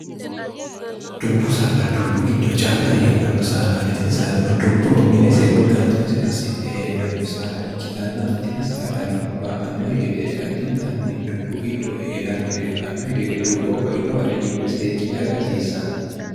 dubbu saada dubbu giddo calla heedhanno saadati tini saadano dubbo mine seewwe gaalxinosi assidhe heedhanno saada ikkitanna tini saadano ba annohi gede addintanni dubbu giddo hee'rannori ba annohi gede dubbo bainowa riimbe seekkine aga rasiissanna